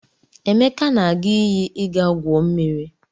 Emeka na-aga iyi ịga gwuo mmiri.